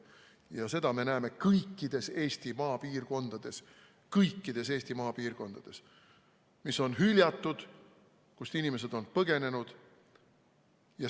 Ja seda me näeme kõikides Eesti maapiirkondades, mis on hüljatud ja kust inimesed on põgenenud.